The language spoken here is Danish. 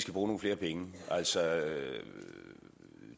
nogle flere penge altså